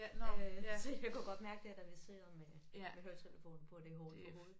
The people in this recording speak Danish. Øh så jeg kunne godt mærke dér da vi sidder med med høretelefoner på at det hårdt for hovedet